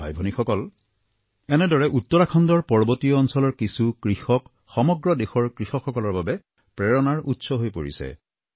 ভাইভনীসকল এনেদৰে উত্তৰাখণ্ডৰ পৰ্বতীয়া অঞ্চলৰ কিছু কৃষক সমগ্ৰ দেশৰ কৃষকসকলৰ বাবে প্ৰেৰণাৰ উৎস হৈ পৰিছে